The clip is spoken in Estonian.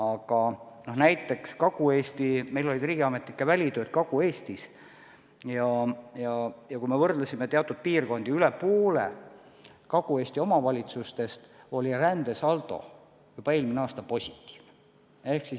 Aga näiteks Kagu-Eestis – meil olid riigiametnikud välitööl Kagu-Eestis ja kui me võrdlesime teatud piirkondi, siis selgus, et rohkem kui pooltes Kagu-Eesti omavalitsustes oli rändesaldo juba eelmine aasta positiivne.